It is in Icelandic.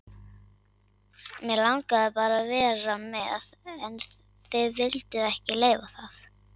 mig langaði bara að vera með en þið vilduð ekki leyfa það